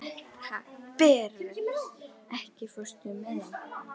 Berent, ekki fórstu með þeim?